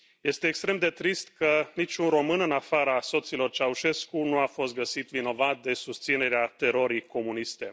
Este extrem de trist că niciun român, în afara soților Ceaușescu, nu a fost găsit vinovat de susținere a terorii comuniste.